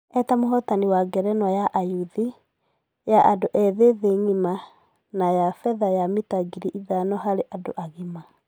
E ta mũhotani wa ngerenwa ya ayuthi, ya andũ ethĩ thĩ ngima na ya fedha ya mita ngiri ithano harĩ andũ agima .